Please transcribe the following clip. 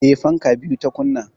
Eh, fanka biyu ta kunna